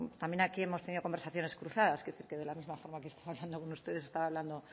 también aquí hemos tenido conversaciones cruzadas quiero decir que de la misma forma que estaba hablando con ustedes estaba hablando